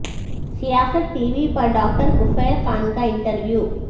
سیاست TV پر doctor Kafeel Khan کا انٹرویو